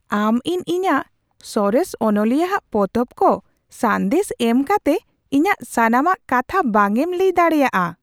ᱟᱢ ᱤᱧ ᱤᱧᱟᱹᱜ ᱥᱚᱨᱮᱥ ᱚᱱᱚᱞᱤᱭᱟᱹᱟᱜ ᱯᱚᱛᱚᱵ ᱠᱚ ᱥᱟᱸᱫᱮᱥ ᱮᱢ ᱠᱟᱛᱮ ᱤᱧᱟᱹᱜ ᱥᱟᱱᱟᱢᱟᱜ ᱠᱟᱛᱷᱟ ᱵᱟᱝ ᱮᱢ ᱞᱟᱹᱭ ᱫᱟᱲᱮᱹᱭᱟᱜᱼᱟ ᱾